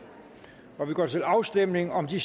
og vi går til afstemning om de